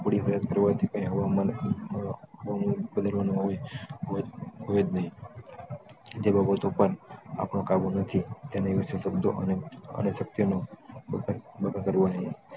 હોયજ નહિ તે બાબતો પર આપણો કાબુ નથી તેના વિષય શબ્દો અને સત્ય નો